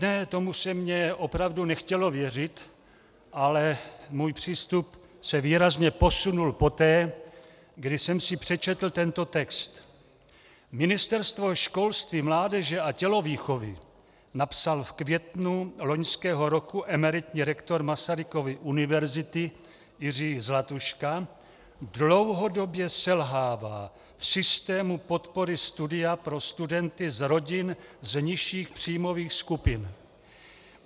Ne, tomu se mně opravdu nechtělo věřit, ale můj přístup se výrazně posunul poté, kdy jsem si přečetl tento text: Ministerstvo školství, mládeže a tělovýchovy, napsal v květnu loňského roku emeritní rektor Masarykovy univerzity Jiří Zlatuška, dlouhodobě selhává v systému podpory studia pro studenty z rodin z nižších příjmových skupin.